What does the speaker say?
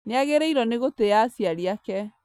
Nĩagĩrĩirwo nĩ gũtĩa aciari ake